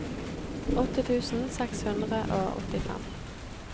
åtte tusen seks hundre og åttifem